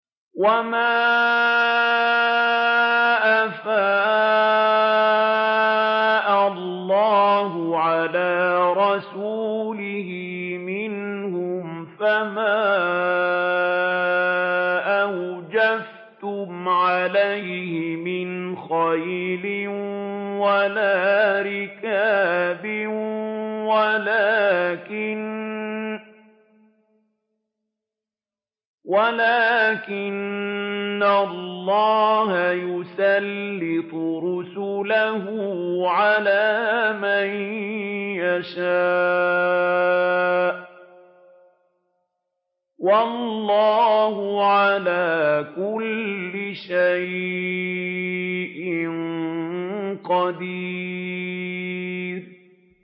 وَمَا أَفَاءَ اللَّهُ عَلَىٰ رَسُولِهِ مِنْهُمْ فَمَا أَوْجَفْتُمْ عَلَيْهِ مِنْ خَيْلٍ وَلَا رِكَابٍ وَلَٰكِنَّ اللَّهَ يُسَلِّطُ رُسُلَهُ عَلَىٰ مَن يَشَاءُ ۚ وَاللَّهُ عَلَىٰ كُلِّ شَيْءٍ قَدِيرٌ